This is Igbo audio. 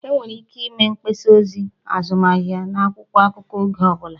Enwere ike ịme mgbasa ozi azụmahịa n'akwụkwọ akụkọ oge ọ bụla